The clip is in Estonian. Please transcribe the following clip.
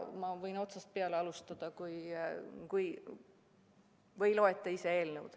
Ma võin otsast peale alustada või loete te ise eelnõu.